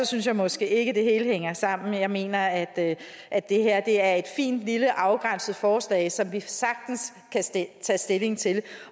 synes jeg måske ikke det helt hænger sammen men jeg mener at at det her er et fint lille afgrænset forslag som vi sagtens kan tage stilling til